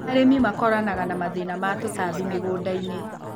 Arĩmi makoranaga na mathĩna ma tũtambi mĩgũndainĩ.